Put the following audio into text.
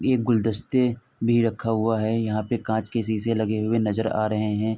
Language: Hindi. एक गुलदस्ते भी रखा हुआ है। यहां पे कांच के शीशे लगे हुए नजर आ रहे हैं।